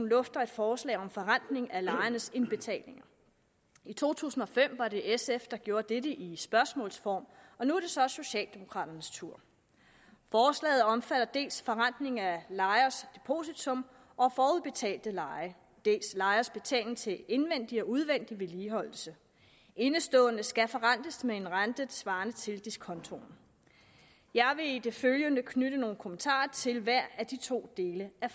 lufter et forslag om forrentning af lejernes indbetalinger i to tusind og fem var det sf der gjorde dette i spørgsmålsform og nu er det så socialdemokraternes tur forslaget omfatter dels forrentning af lejers depositum og forudbetalte leje dels lejers betaling til indvendig og udvendig vedligeholdelse indeståender skal forrentes med en rente svarende til diskontoen jeg vil i det følgende knytte nogle kommentarer til hver af de to dele af